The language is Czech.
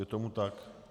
Je tomu tak.